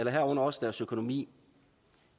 herunder også deres økonomi